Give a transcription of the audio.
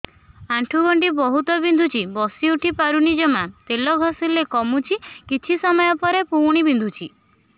ଆଣ୍ଠୁଗଣ୍ଠି ବହୁତ ବିନ୍ଧୁଛି ବସିଉଠି ପାରୁନି ଜମା ତେଲ ଘଷିଲେ କମୁଛି କିଛି ସମୟ ପରେ ପୁଣି ବିନ୍ଧୁଛି